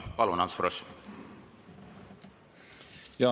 Palun, Ants Frosch!